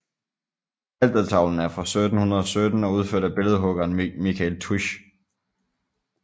Altertavlen er fra 1717 og udført af billedhuggeren Michael Tuisch